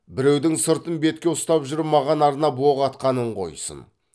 біреудің сыртын бетке ұстап жүріп маған арнап оқ атқанын қойсын